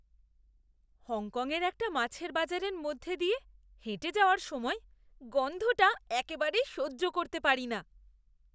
হংকংয়ের একটা মাছের বাজারের মধ্য দিয়ে হেঁটে যাওয়ার সময় গন্ধটা একেবারেই সহ্য করতে পারি না।